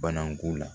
Bana ko la